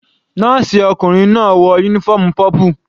Nọ́ọ̀sì ọkùnrin náà wọ uniform purple.